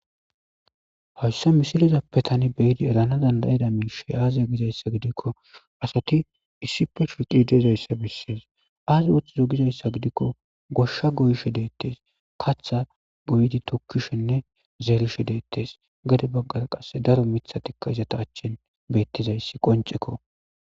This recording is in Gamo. Hayssa misilizappe tani beyidi erana dandayida minishe aaziya gizayssa gidikko asati issipe shuriqi deezayssa bessees aazi ooththizo gizayssa gidikko goshsha goyishe deettes katha goyidi tokkishenne zeerishe deettes gade baggara qasse daro mithatikka izata achchin bettizayssi qoncekko